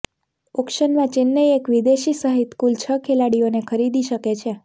ઑક્શનમાં ચેન્નઈ એક વિદેશી સહિત કુલ છ ખેલાડીઓને ખરીદી શકે છે